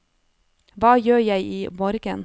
hva gjør jeg imorgen